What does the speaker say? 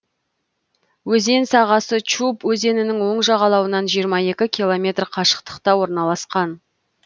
өзен сағасы чуб өзенінің оң жағалауынан жиырма екі километр қашықтықта орналасқан